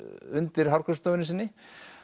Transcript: undir hárgreiðslustofunni sinni